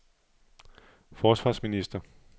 forsvarsminister